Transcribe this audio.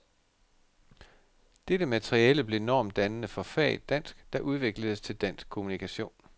Dette materiale blev normdannende for faget dansk, der udvikledes til dansk kommunikation.